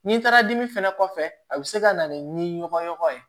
N'i taara dimi fɛnɛ kɔfɛ a bɛ se ka na ni ɲɔgɔn ye